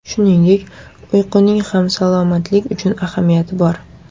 Shuningdek, uyquning ham salomatlik uchun ahamiyati bor.